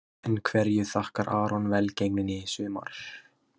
En hverju þakkar Aron velgengnina í sumar?